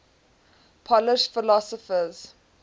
polish philosophers